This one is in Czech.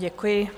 Děkuji.